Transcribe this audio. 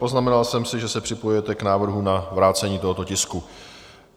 Poznamenal jsem si, že se připojujete k návrhu na vrácení tohoto tisku.